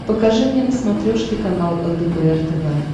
покажи мне на смотрешке канал лдпр тв